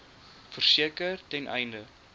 verseker ten einde